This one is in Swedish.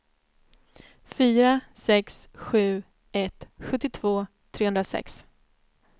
fyra sex sju ett sjuttiotvå trehundrasex